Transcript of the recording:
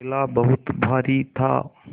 थैला बहुत भारी था